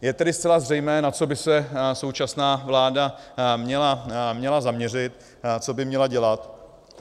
Je tedy zcela zřejmé, na co by se současná vláda měla zaměřit, co by měla dělat.